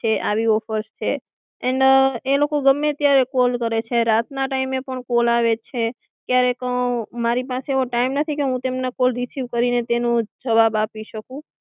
કે આવી ઑફર્સ છે એન્ડ એ લોકો ગામેય ત્યારે કોલ કરે છે રાત ના ટાઈમે પણ કોલ આવે છે ક્યારેક મારી પાસે એવો ટાઈમ નથી કે તેમના કોલ રિસિવ કરીને તેનો જવાબ આપી શકું કે આવી ઑફર્સ છે.